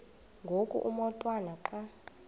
ngoku umotwana xa